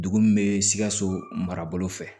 Dugu min bɛ sikaso marabolo fɛ